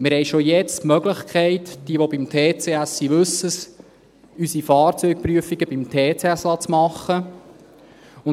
Wir haben schon jetzt die Möglichkeit – wer beim Touring Club Schweiz (TCS) ist, weiss es –, unsere Fahrzeugprüfungen beim TCS machen zu lassen.